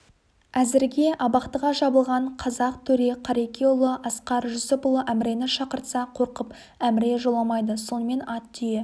әзірге абақтыға жабылған қазақ төре қарекеұлы асқар жүсіпұлы әмірені шақыртса қорқып әміре жоламайды сонымен ат түйе